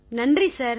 நன்றி சார்